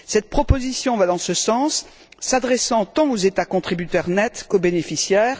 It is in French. Cette proposition va dans ce sens, s'adressant tant aux États contributeurs nets qu'aux bénéficiaires.